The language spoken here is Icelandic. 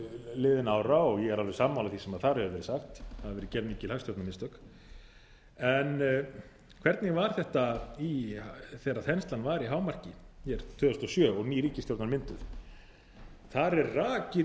liðinna ára og ég er alveg sammála því sem þar hefur verið sagt það hafa verið gerð mikil hagstjórnarmistök en hvernig var þetta þegar þenslan var í hámarki hér tvö þúsund og sjö og ný ríkisstjórn var mynduð það er rakið í